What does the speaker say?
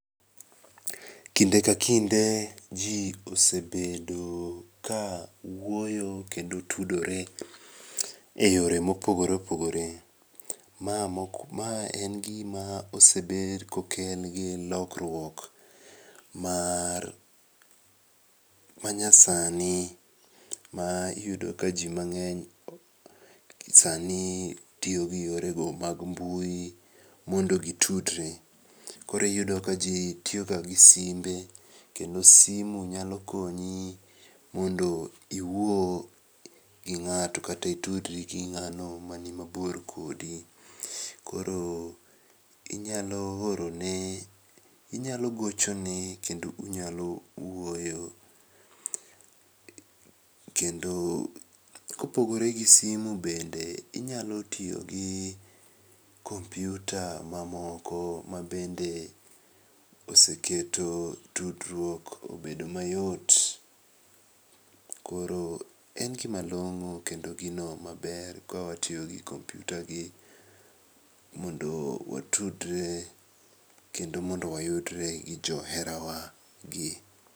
Kinde ka kinde jii osebedo ka wuoyo kendo tudore e yore mopogore opogore. Ma en gima osebed kokel gi lokruok mar manyasani maiyudo ka jii mang'eny sani tiyogi yorego mag mbui mondo gitudre koro iyudo ka jii tiyoga gi simbe kendo simu nyalo konyi mondo iwuo gi ng'ato kata itudri gi ng'ano mani mabor kodi, koro inyalo orone inyalo gochone kendo unyalo wuoyo, kendo kopogore gi simu bende inyalo tiyogi kompyuta mamoko mabende oseketo tudruok obedo mayot koro en gimalong'o kendo gino maber kawatiyogi kompyuta gi kondo watudre kendo mondo wayudre gi joherawa gi.